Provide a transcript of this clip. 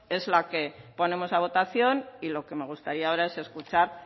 es la que ponemos a votación y lo que me gustaría ahora es escuchar